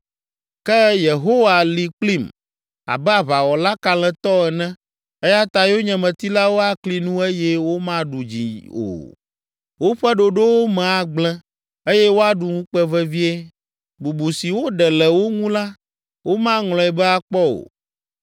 Ke Yehowa li kplim abe aʋawɔla kalẽtɔ ene, eya ta yonyemetilawo akli nu eye womaɖu dzi o. Woƒe ɖoɖowo me agblẽ eye woaɖu ŋukpe vevie, bubu si woɖe le wo ŋu la, womaŋlɔe be akpɔ o.